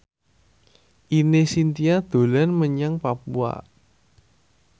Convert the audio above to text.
Ine Shintya dolan menyang Papua